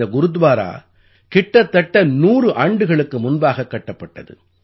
இந்த குருத்வாரா கிட்டத்தட்ட 100 ஆண்டுகளுக்கு முன்பாகக் கட்டப்பட்டது